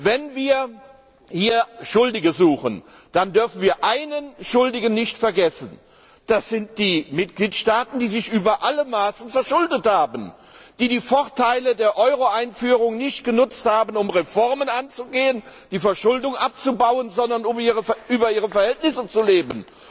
Wenn wir hier Schuldige suchen, dann dürfen wir einen Schuldigen nicht vergessen Das sind die Mitgliedstaaten, die sich über alle Maßen verschuldet haben, die die Vorteile der Euroeinführung nicht genutzt haben, um Reformen anzugehen, um die Verschuldung abzubauen, sondern um über ihre Verhältnisse zu leben.